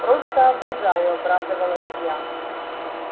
просто обожаю обрадовалась я